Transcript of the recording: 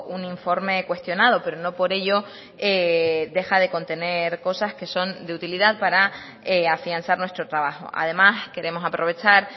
un informe cuestionado pero no por ello deja de contener cosas que son de utilidad para afianzar nuestro trabajo además queremos aprovechar